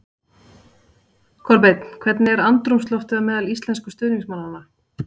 Kolbeinn, hvernig er andrúmsloftið á meðal íslensku stuðningsmannanna?